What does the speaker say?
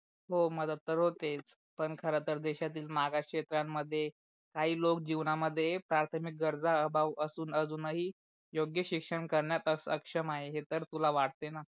हो मदत तर होतेच, पण खर तर देशातील मागास क्षेत्रामध्ये काही लोक जीवनामध्ये प्राथमिक गरजा भागू आसून अजून ही योग्य शिक्षण करण्यात अशक्षम आहे हे तर तुला वाटते णा.